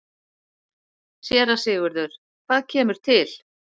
SÉRA SIGURÐUR: Hvað kemur til?